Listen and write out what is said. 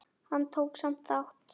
Hann tók samt þátt.